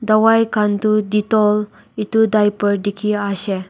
dawai khan tu detol itu diaper dikhi aishey.